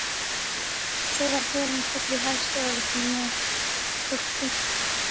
Svo varð holan full og harðtroðin, fólk tíndist burt.